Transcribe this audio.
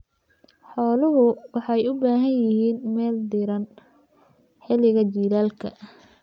Idaha waxay u baahan yihiin meel diiran xilliga jiilaalka.